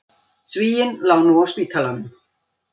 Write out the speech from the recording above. Svíinn lá nú á spítalanum.